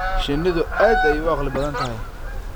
Shinnidu aad ayay u caqli badan tahay.